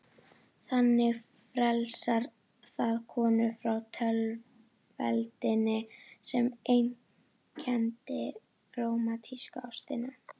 Þannig frelsar það konur frá tvöfeldninni sem einkenndi rómantísku ástina.